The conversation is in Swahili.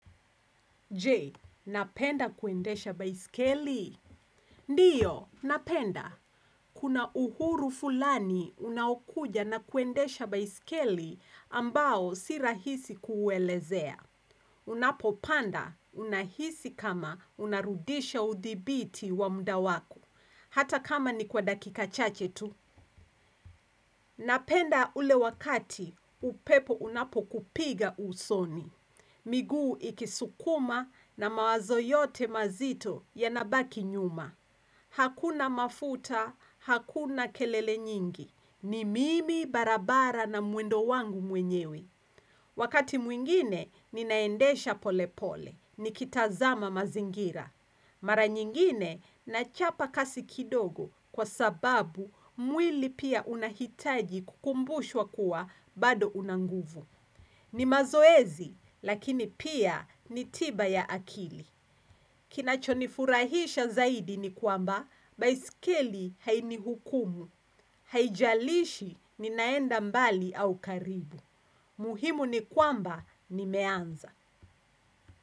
Je, napenda kuendesha baisikeli? Ndiyo, napenda. Kuna uhuru fulani unaukuja na kuendesha baisikeli ambao si rahisi kuuelezea. Unapopanda unahisi kama unarudisha udhibiti wa muda wako. Hata kama ni kwa dakika chache tu. Napenda ule wakati, upepo unapo kupiga usoni. Miguu ikisukuma na mawazo yote mazito yanabaki nyuma. Hakuna mafuta, hakuna kelele nyingi. Ni mimi barabara na mwendo wangu mwenyewe. Wakati mwingine ninaendesha pole pole. Nikitazama mazingira. Mara nyingine nachapa kasi kidogo kwa sababu mwili pia unahitaji kukumbushwa kuwa bado unanguvu. Ni mazoezi, lakini pia ni tiba ya akili. Kinachonifurahisha zaidi ni kwamba, baisikili hainihukumu. Haijalishi ninaenda mbali au karibu. Muhimu ni kwamba nimeanza.